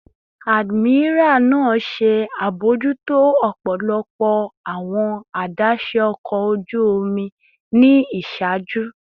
Admiral naa ṣe abojuto ọpọlọpọ awọn adaṣe ọkọ oju omi ni iṣaaju